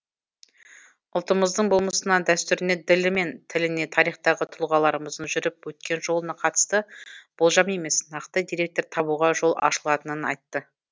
ұлтымыздың болмысына дәстүріне ділі мен тіліне тарихтағы тұлғаларымыздың жүріп өткен жолына қатысты болжам емес нақты деректер табуға жол ашылатынын айтты